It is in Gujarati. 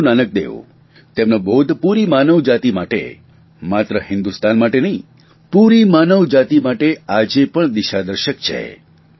ગુરૂ નાનકદેવ તેમનો બોધ પૂરી માનવજાતિ માટે માત્ર હિંદુસ્તાન માટે નહીં પૂરી માનવજાતિ માટે આજે પણ દિશાદર્શક છે